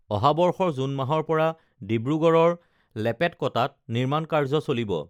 অহা বৰ্ষৰ জুন মাহৰ পৰা ডিব্ৰুগড়ৰ লেপেটকটাত নিৰ্মাণ কাৰ্য চলিব